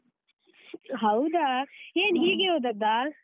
ಹೌದಾ ಏನು ಹೀಗೆ ಹೋದದ್ದಾ?